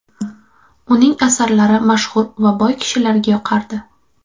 Uning asarlari mashhur va boy kishilarga yoqardi.